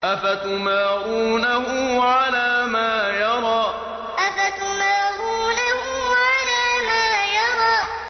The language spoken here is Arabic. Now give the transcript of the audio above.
أَفَتُمَارُونَهُ عَلَىٰ مَا يَرَىٰ أَفَتُمَارُونَهُ عَلَىٰ مَا يَرَىٰ